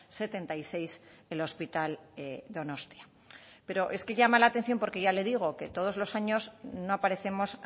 setenta y seis el hospital donostia pero es que llama la atención porque ya le digo que todos los años no aparecemos